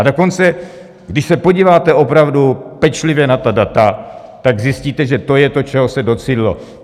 A dokonce když se podíváte opravdu pečlivě na ta data, tak zjistíte, že to je to, čeho se docílilo.